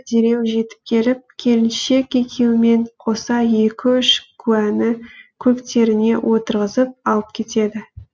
дереу жетіп келіп келіншек екеуімен қоса екі үш куәні көліктеріне отырғызып алып кетеді